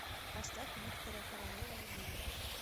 поставь виктора королева любимая